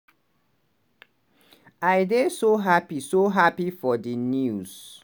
"i dey so happy so happy for di news